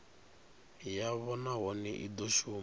yavho nahone i do shuma